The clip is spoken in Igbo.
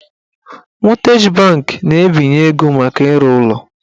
Mọtgeji banki na-ebinye ego maka ịrụ ụlọ